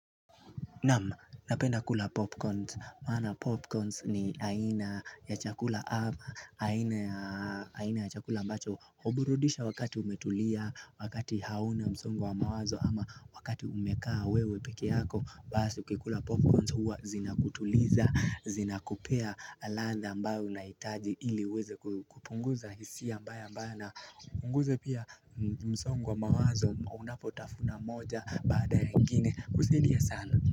Naam, napenda kula popcorns, maana popcorns ni aina ya chakula, aina ya chakula mbacho, huburudisha wakati umetulia, wakati hauna msongo wa mawazo, ama wakati umekaa wewe peke yako, basi ukikula popcorns huwa zinakutuliza, zina kupea ladha ambayo unaitaji ili uweze kupunguza hisia mbaya ambayo na punguze pia msongo wa mawazo unapotafuna moja baada ya ingine kusidia sana.